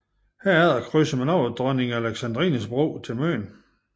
Herefter krydser man over Dronning Alexandrines Bro til Møn